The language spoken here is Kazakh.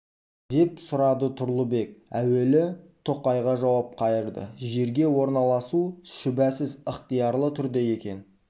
деп сұрады тұрлыбек әуелі тоқайға жауап қайырды жерге орналасу шүбәсіз ықтиярлы түрде екен